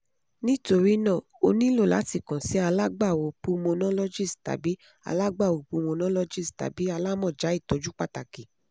nitori naa o nilo lati kan si alagbawo pulmonologist tabi alagbawo pulmonologist tabi alamọja itọju pataki